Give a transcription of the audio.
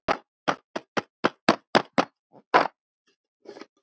Ég man þig sem bróður.